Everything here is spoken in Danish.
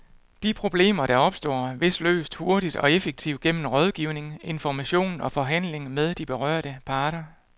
De problemer, der opstår, bliver løst hurtigt og effektivt gennem rådgivning, information og forhandling med de berørte parter.